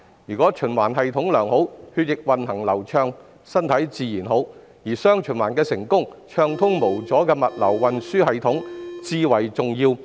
如果血液循環系統良好，血液運行便會流暢，身體自然好，而"雙循環"成功與否，暢通無阻的物流運輸至為重要。